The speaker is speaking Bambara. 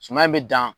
Suman in bɛ dan